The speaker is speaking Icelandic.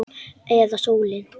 Eða sólin?